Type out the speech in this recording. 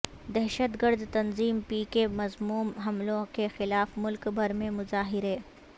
دہشت گرد تنظیم پی کے کےمذموم حملوں کیخلاف ملک بھر میں مظاہرے